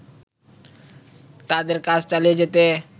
তাদের কাজ চালিয়ে যেত